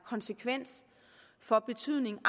konsekvens og betydning